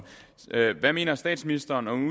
hvad mener statsministeren om